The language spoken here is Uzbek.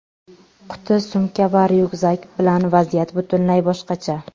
Quti-sumka va ryukzak bilan vaziyat butunlay boshqacha.